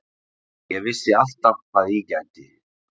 Ég vissi alltaf hvað ég gæti.